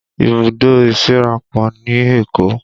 Ibùdó ìsíra pọ̀ ní Èkó